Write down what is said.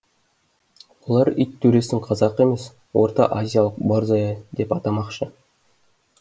олар ит төресін қазақы емес ортаазиялық борзая деп атамақшы